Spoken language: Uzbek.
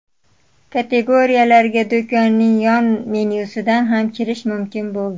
Kategoriyalarga do‘konning yon menyusidan ham kirish mumkin bo‘ldi.